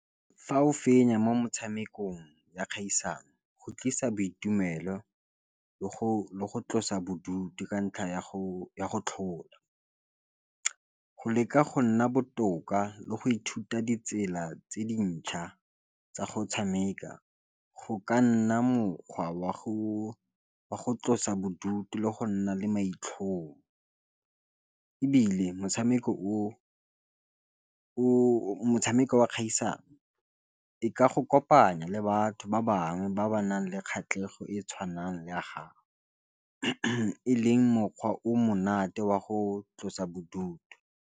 Fa o fenya mo motshamekong ya kgaisano go tlisa boitumelo le go tlosa bodutu ka ntlha ya go tlhola go leka go nna botoka le go ithuta ditsela tse dintšha tsa go tshameka go ka nna mokgwa wa go tlosa bodutu le go nna le maitlhomo e bile motshameko wa kgatlhisang e ka go kopanya le batho ba bangwe ba ba nang le kgatlhego e tshwanang ya gago e leng mokgwa o monate wa go tlosa bodutu.